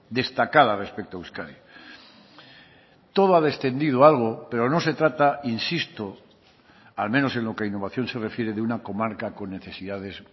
destacada respecto a euskadi todo ha descendido algo pero no se trata insisto al menos en lo que a innovación se refiere de una comarca con necesidades